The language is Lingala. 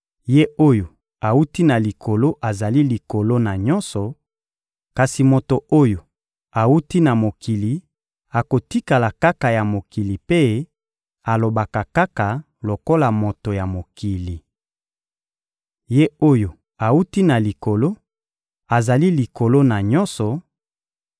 Ye oyo awuti na Likolo azali likolo na nyonso; kasi moto oyo awuti na mokili akotikala kaka ya mokili mpe alobaka kaka lokola moto ya mokili. Ye oyo awuti na Likolo azali likolo na nyonso,